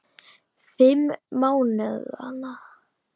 Fimm mánaða